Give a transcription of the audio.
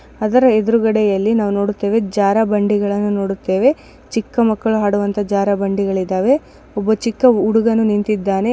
ಅದರ ಎದುರೆಗಡೆಯಲ್ಲಿ ನಾವು ನೋಡುತ್ತೇವೆ ಜರ್ರಬಂಡಿಗಲ್ಲನು ನೋಡುತ್ತೇವೆ ಚಿಕ್ಕ ಮಕ್ಕಳು ಅಂಡುವಂತೆ ಜಾರಬಂದಿಗಳು ಇದಾವೆ. ಒಬ್ಬ ಚಿಕ್ಕ ಹುಡುಗನು ನಿಂತಿದ್ದಾನೆ.